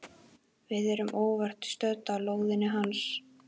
Við erum óvart stödd á lóðinni hans.